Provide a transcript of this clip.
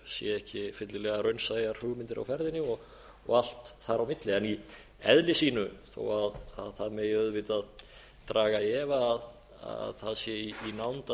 séu ekki fyllilega raunsæjar hugmyndir á ferðinni og allt þar á milli í eðli sínu þó að það megi auðvitað draga í efa að það sé í nánd að við höfum